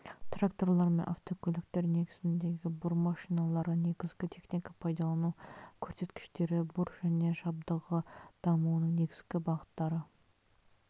тракторлар мен автокөліктер негізіндегі бур машиналары негізгі техника пайдалану көрсеткіштері бур және жабдығы дамуының негізгі бағыттары